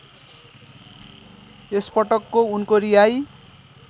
यसपटकको उनको रिहाइ